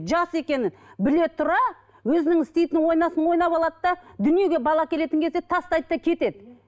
жас екені біле тұра өзінің істейтінін ойнасын ойнап алады да дүниеге бала әкелетін кезде тастайды да кетеді